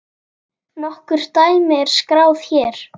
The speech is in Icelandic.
Nokkur dæmi er skráð hér